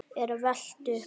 er velt upp.